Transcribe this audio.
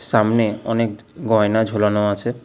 সামনে অনেক গয়না ঝোলানো আছে।